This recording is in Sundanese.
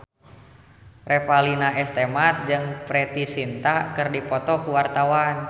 Revalina S. Temat jeung Preity Zinta keur dipoto ku wartawan